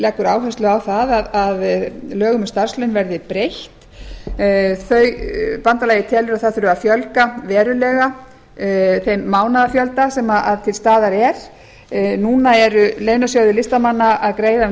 leggur áherslu á það lögum um starfslaun verði breytt bandalagið telur að það þurfi að fjölga verulega þeim mánaðafjölda sem til staðar er núna eru launasjóðir listamanna að greiða um